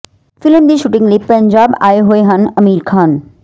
film ਦੀ shooting ਲਈ ਪੰਜਾਬ ਆਏ ਹੋਏ ਹਨ ਆਮਿਰ ਖਾਨ